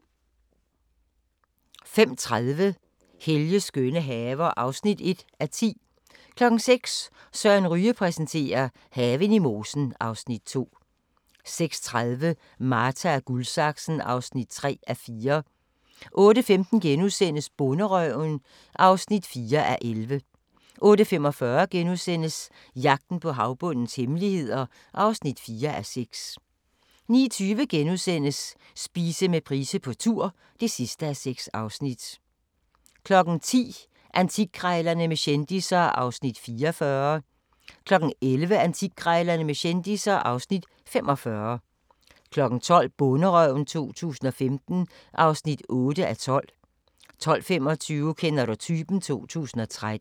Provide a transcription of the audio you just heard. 05:30: Helges skønne haver (1:10) 06:00: Søren Ryge præsenterer: Haven i mosen (Afs. 2) 06:30: Marta & Guldsaksen (3:4) 08:15: Bonderøven (4:11)* 08:45: Jagten på havbundens hemmeligheder (4:6)* 09:20: Spise med Price på tur (6:6)* 10:00: Antikkrejlerne med kendisser (Afs. 44) 11:00: Antikkrejlerne med kendisser (Afs. 45) 12:00: Bonderøven 2015 (8:12) 12:25: Kender du typen? 2013